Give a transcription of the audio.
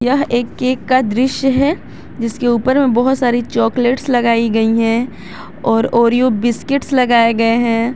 यह एक केक का दृश्य है जिसके ऊपर में बहुत सारी चॉकलेट्स लगाई गई है और ओरियो बिस्किट्स लगाए गए हैं।